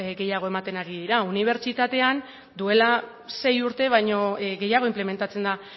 gehiago ematen ari dira unibertsitatean duela sei urte baino gehiago inplementatzen da